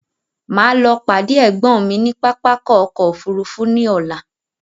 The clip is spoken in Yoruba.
Máa lọ pàdé ẹ̀gbọ́n mi ní pápákọ̀ ọkọ òfúrufú ní ọlá